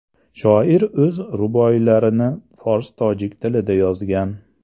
Shoir o‘z ruboiylarini fors-tojik tilida yozgan.